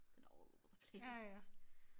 Den er all over the place